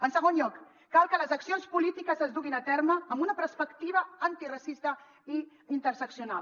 en segon lloc cal que les accions polítiques es duguin a terme amb una perspectiva antiracista i interseccional